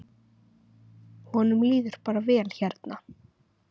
Honum líður bara vel hérna.